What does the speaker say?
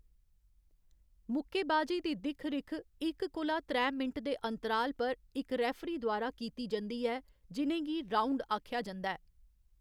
मुक्केबाजी दी दिक्ख रिक्ख इक कोला त्रै मिंट दे अंतराल पर इक रेफरी द्वारा कीती जंदी ऐ जि'नें गी राउँड आखेआ जंदा ऐ।